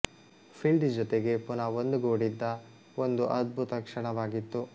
ಫೀಲ್ಡಿ ಜೊತೆಗೆ ಪುನಃ ಒಂದು ಗೂಡಿದ್ದ ಒಂದು ಅದ್ಭುತ ಕ್ಷಣವಾಗಿತ್ತು